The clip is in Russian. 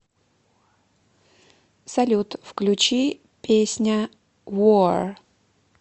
салют включи песня вор